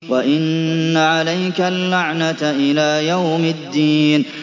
وَإِنَّ عَلَيْكَ اللَّعْنَةَ إِلَىٰ يَوْمِ الدِّينِ